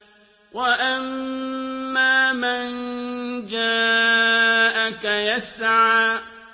وَأَمَّا مَن جَاءَكَ يَسْعَىٰ